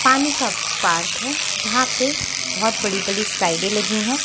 पानी का पार्क है जहां पे बहुत बड़ी बड़ी स्लाइडें लगी हैं।